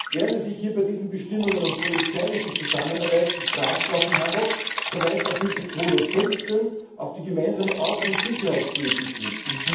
Während es sich hier bei diesen Bestimmungen um polizeiliche Zusammenarbeit in Strafsachen handelt, weist Artikel 215 auf die Gemeinsame Außen und Sicherheitspolitik hin.